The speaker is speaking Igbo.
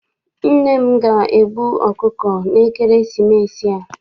Nne m ga- egbu ọkụkọ na ekeresimesi a.